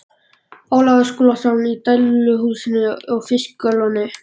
Ólafur Skúlason í dæluhúsinu á Fiskalóni.